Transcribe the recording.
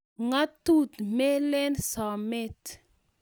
Ngatut melen someet.